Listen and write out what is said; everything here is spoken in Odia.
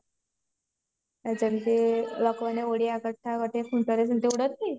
ଯେମତି ଓଡିଆ କଥା